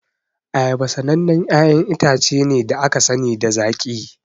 Ayaba sanannen 'ya'yan itace ne da aka sani da zaƙi.